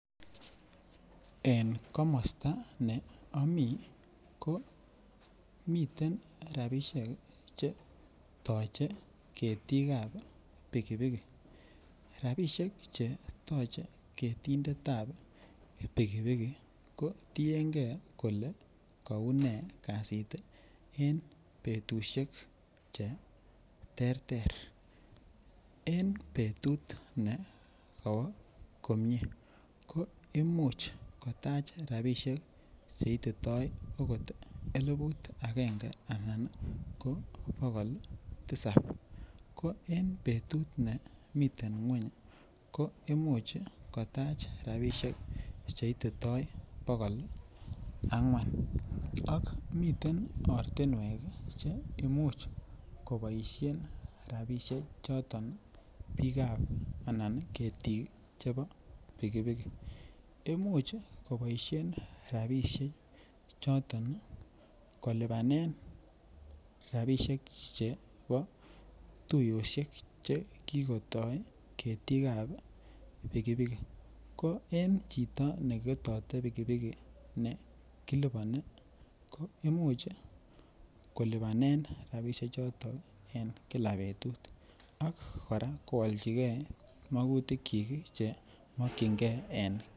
En komosta ne ami ko miten rabisiek Che toche ketik ab pikipiki rabisiek Che toche ketinditap pikipiki ii ko tienge kole kounee kasit en betusiek Che terter en betut ne kowo komie ko Imuch kotach rabisiek Che ititoi okot Eliput agenge anan ko bogol tisap ko en betut nemiten ngwony ko Imuch kotach rabisiek Che ititoi bogol angwan ak miten ortinwek Che Imuch koboisien rabisiechoto bikap anan ketik chebo pikipiki Imuch koboisien rabisiechoto kolipanen rabisiek chebo tuiyosiek Che kigotoi ketik ab pikipiki ko en chito ne ketoti pikipiki ne kiliponi koimuch kolipanen rabisiechoto en kila betut ak kora koalchigei magutik Che mokyingei.